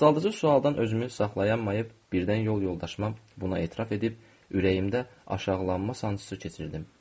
Alçaldıcı sualdan özümü saxlaya bilməyib birdən yol yoldaşıma buna etiraz edib ürəyimdə alçaqlanma sancısı keçirdim.